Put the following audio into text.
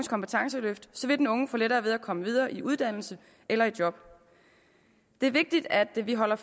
kompetenceløft vil den unge få lettere ved at komme videre i uddannelse eller i job det er vigtigt at vi holder